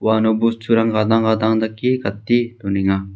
uano bosturang gadang gadang dake gate donenga.